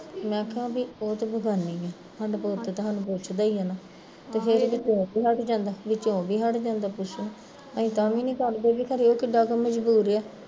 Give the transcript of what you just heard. ਮੈਂ ਕਿਹਾ ਉਹ ਤੇ ਚੱਲ ਬੇਗਾਨੀ ਆ ਸਾਡਾ ਪੁੱਤ ਤੇ ਸਾਨੂੰ ਪੁੱਛਦਾ ਈ ਐ ਨਾ ਵਿੱਚੋਂ ਉਹ ਵੀ ਹੱਟ ਜਾਂਦਾ ਪੁੱਛਣੋਂ, ਅਸੀਂ ਤਾਂ ਵੀ ਨੀ ਕਰਦੇ ਵੀ ਖਰੇ ਏਹ ਕਿੱਡਾ ਕੁ ਮਜ਼ਬੂਰ ਆ